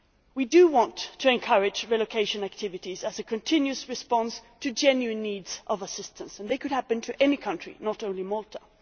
We want to encourage relocation activities as a continuous response to genuine needs for assistance and this could happen to any country, not only Malta.